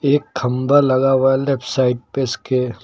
एक खम्बा लगा हुआ है लेफ्ट साइड पे इसके।